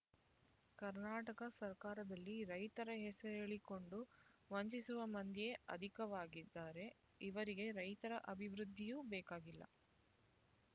ಕರ್ನಾಟಕ ಸರ್ಕಾರದಲ್ಲಿ ರೈತರ ಹೆಸರೇಳಿಕೊಂಡು ವಂಚಿಸುವ ಮಂದಿಯೇ ಅಧಿಕವಾಗಿದ್ದಾರೆ ಇವರಿಗೆ ರೈತರ ಅಭಿವೃದ್ಧಿಯೂ ಬೇಕಾಗಿಲ್ಲ